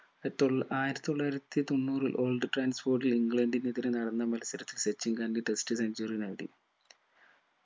ആയിരത്തി തൊള്ളായിരത്തി തൊണ്ണൂറിൽ old ട്രാൻസ്ഫോർഡിൽ ഇംഗ്ലണ്ടിനെതിരെ നടന്ന മത്സരത്തിൽ സച്ചിൻ രണ്ട് test centuary നേടി